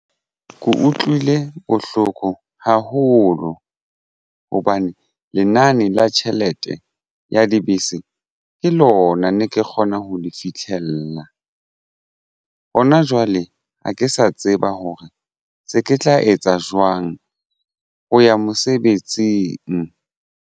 Ke utlwile bohloko haholo hobane lenane la tjhelete ya dibese ke lona ne ke kgona ho nna le fitlhella hona jwale ha ke sa tseba hore se ke tla etsa jwang ho ya mosebetsing.